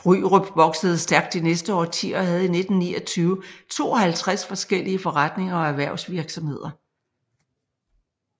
Bryrup voksede stærkt de næste årtier og havde i 1929 52 forskellige forretninger og erhvervsvirksomheder